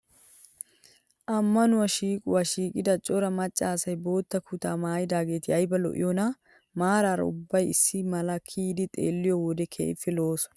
Ammanuwaa shiiquwaa shiiqida cora macca asayi bootta kutaa maayidaageeti ayiba lo"iyoonaa. Maaraara ubbayi issi mala kiyidi xeelliyoo wode keehippe lo"oosona.